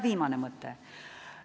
Viimane mõte.